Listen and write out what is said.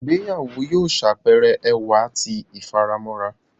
Ìgbéyàwó yóò ṣàpẹẹrẹ ẹwà tí ifaramo.